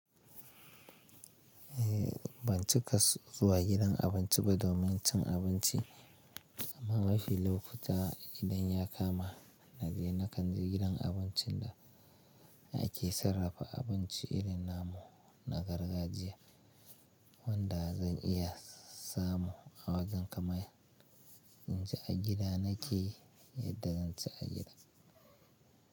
Eh ban cika zuwa gidan abinci ba domin cin abinci, amma mafi lokuta idan ya kama na je na kanje gidan abincin da ake sarrafa abinci irin namu na gargajiya wanda zan iya samu a wajen kamata. In ci a gida na ke yadda zan ci a gida.